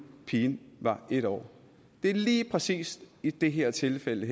pigen var en år det er lige præcis i det her tilfælde